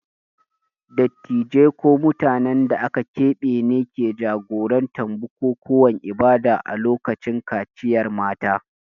Dattijai ko mutanen da aka keɓe ne ke jagorantar bukukuwan ibada a lokacin kaciyar mata.